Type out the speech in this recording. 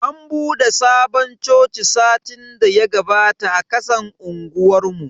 An bude sabon coci satin daya gabata a kasan unguwar mu.